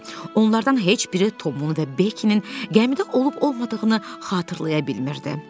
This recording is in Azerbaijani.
Onlardan heç biri Tomun və Bekinin gəmidə olub-olmadığını xatırlaya bilmirdilər.